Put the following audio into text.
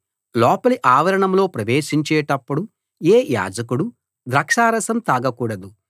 లోపలి ఆవరణంలో ప్రవేశించేటపుడు ఏ యాజకుడూ ద్రాక్షారసం తాగకూడదు